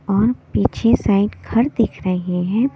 और पीछे साइड घर दिख रहे हैं।